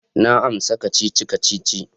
Na amsa kacici-kacici.